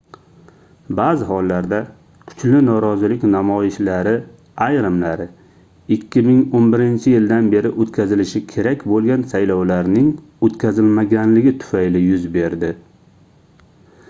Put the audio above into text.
baʼzi hollarda kuchli norozilik namoyishlari ayrimlari 2011-yildan beri oʻtkazilishi kerak boʻlgan saylovlarning oʻtkazilmaganligi tufayli yuz berdi